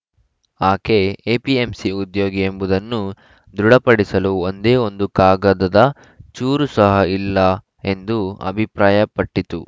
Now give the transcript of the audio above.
ಆಕೆ ಎಪಿಎಂಸಿ ಉದ್ಯೋಗಿ ಎಂಬುದನ್ನು ದೃಢಪಡಿಸಲು ಒಂದೇ ಒಂದು ಕಾಗದದ ಚೂರು ಸಹ ಇಲ್ಲ ಎಂದು ಅಭಿಪ್ರಾಯಪಟ್ಟಿತು